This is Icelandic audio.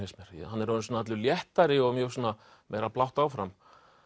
hann er orðinn svona allur léttari og mjög svona meira blátt áfram